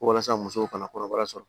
Ko walasa musow ka na kɔnɔbara sɔrɔ